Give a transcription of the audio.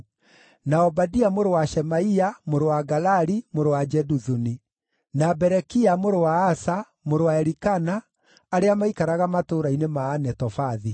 na Obadia mũrũ wa Shemaia, mũrũ wa Galali, mũrũ wa Jeduthuni; na Berekia mũrũ wa Asa, mũrũ wa Elikana, arĩa maaikaraga matũũra-inĩ ma Anetofathi.